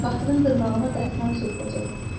Qatırın dırnağına qətran sürtəcək.